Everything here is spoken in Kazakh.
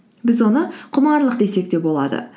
біз оны құмарлық десек те болады